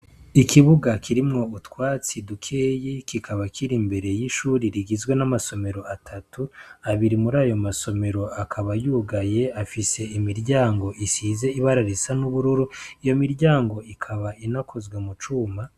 Ikibuga kirimwo utwatsi dukeyi, kikaba kiri imbere y'ishuri rigizwe n'amasomero atatu. Abiri muri ayo amasomero akaba yugaye, afise imiryango isize ibara risa n'ubururu. Iyo miryango ikaba inakozwe mu cuma.